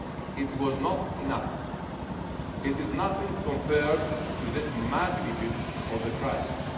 made. It was not enough it is nothing compared to the magnitude of the crisis.